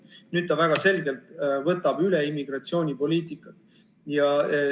Nüüd ta väga selgelt võtab üle immigratsioonipoliitikat.